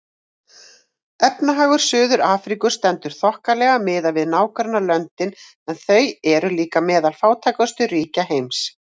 Efnahagur Suður-Afríku stendur þokkalega miðað við nágrannalöndin en þau eru líka meðal fátækustu ríkja heims.